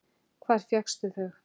Hvar fékkstu þau?